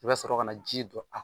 I bɛ sɔrɔ ka na ji don